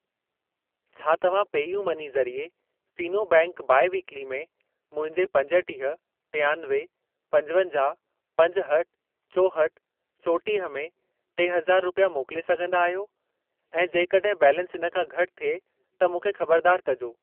छा तव्हां pay U money ज़रिए फ़ीनो बैंक बाई वीक्ली में मुंहिंजे पंजटीह, टियानवे, पंजवंजाहु, पंजहठि, चोहठि, चोटीह में टे हज़ार रुपिया मोकिले सघंदा आहियो ऐं जेकॾहिं बैलेंस इन खां घटि थिए त मूंखे खबरदार कजो।